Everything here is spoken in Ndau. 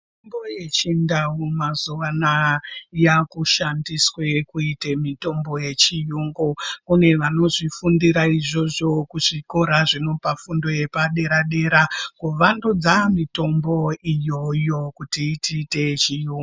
Mitombo yechindau mazuwa anaya yakushandiswa kuita mitombo yechiyungu kune vanozvifundira izvozvo kuzvikora zvinopa fundo yepadera dera kuvandudza mitombo iyoyo kuti iite yechiyungu.